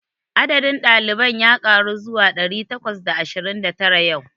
Adadin ɗaliban ya ƙaru zuwa ɗari takwas da ashirin da tara yau.